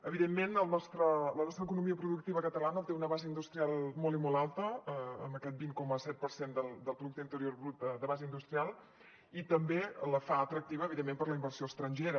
evidentment la nostra economia productiva catalana té una base industrial molt i molt alta amb aquest vint coma set per cent del producte interior brut de base industrial i també la fa atractiva evidentment per la inversió estrangera